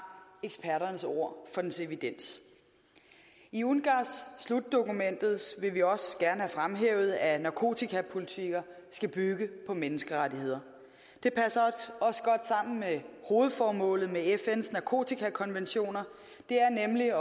eksperternes ord for dens evidens i ungass slutdokumentet vil vi også gerne have fremhævet at narkotikapolitikker skal bygge på menneskerettigheder det passer også godt sammen med hovedformålet med fns narkotikakonventioner det er nemlig at